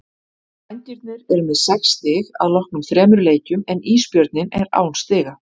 Vængirnir eru með sex stig að loknum þremur leikjum en Ísbjörninn er án stiga.